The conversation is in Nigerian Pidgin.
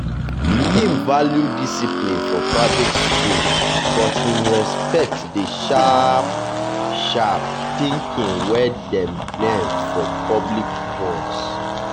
him value discipline for private schools but him respect the sharp-sharp thinking wey dem learn for public ones.